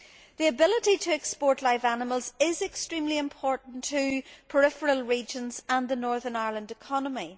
The ability to export live animals is extremely important to peripheral regions and the Northern Ireland economy.